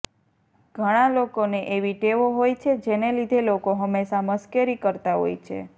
ઘણા લોકોને એવી ટેવો હોય છે જેને લીધે લોકો હંમેશા મશ્કરી કરતા હોય છે